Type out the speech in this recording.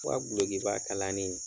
Fɔ a gulogiba kalannen nɔ